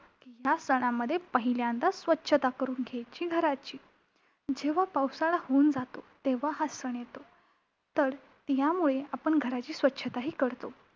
ह्या सणामध्ये पहिल्यांदा स्वच्छता करून घ्यायची घराची! जेव्हा पावसाळा होऊन जातो, तेव्हा हा सण येतो. तर यामुळे आपण घराची स्वच्छताही करतो.